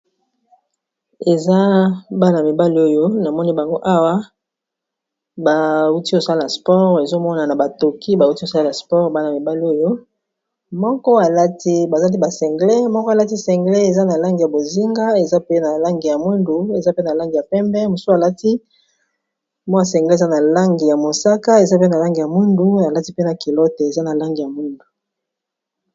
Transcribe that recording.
Eza bana mibali oyo na moni bango awa bauti kosala sport ezomona na batoki bauti osala sport bana mibali oyo moko alati bazali ba sengle moko alati sengle eza na lange ya bozinga eza pe na lange ya mundu, eza pe na langi ya pembe mosu alati mw sengleis eza na lange ya mosaka, eza pe na lange ya mundu alati pena kilote eza na lange ya mundu.